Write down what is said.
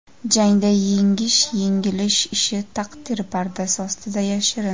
Jangda yengish-yengilish ishi taqdir pardasi ostida yashirin.